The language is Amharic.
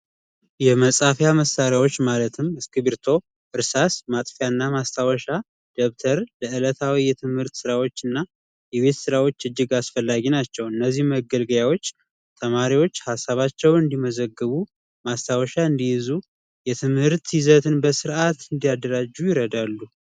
የመፃፊያ መሳሪያዎች ማለትም እስክርቢቶ፣ እርሳስ፣ ማጥፊያ ና ማስታወሻ ደብተር ለዕለታዊ የትምህርት ስራዎች ና የቤት ስራዎች እጅግ አስፈላጊ ናቸው። እነዚህ መገልገያዎች ተማሪዎች ሀሳባቸውን እንዲመዘግቡ፤ ማስታወሻ እንዲይዙ፤ የትምሀርት ይዘትን በስርዓት እንዲያደራጁ ይረዳሉ።